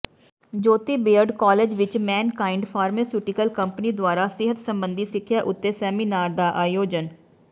ਜੋਤੀ BEd college ਵਿੱਚ Mankind pharmaceutical company ਦੁਆਰਾ ਸਿਹਤ ਸਬੰਧੀ ਸਿੱਖਿਆ ਉੱਤੇ ਸੇਮਿਨਾਰ ਦਾ ਆਯੋਜਨ